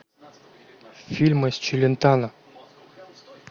фильмы с челентано